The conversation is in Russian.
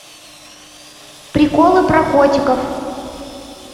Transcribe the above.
приколы про котиков